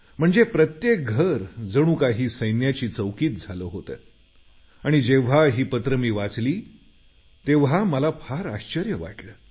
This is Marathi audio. म्हणजे प्रत्येक घर जण काही सैन्याची चौकीच झालं होतं आणि जेव्हा ही पत्रं मी वाचली तेव्हा मला फार आश्चर्य वाटलं